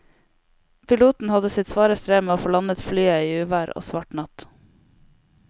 Piloten hadde sitt svare strev med å få landet flyet i uvær og svart natt.